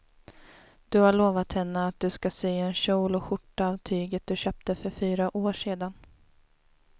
Du har lovat henne att du ska sy en kjol och skjorta av tyget du köpte för fyra år sedan.